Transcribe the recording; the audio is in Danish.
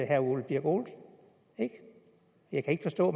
herre ole birk olesen ikke jeg kan ikke forstå